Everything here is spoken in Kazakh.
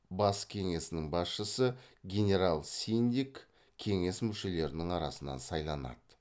бас кеңесінің басшысы генерал синдик кеңес мүшелерінің арасынан сайланады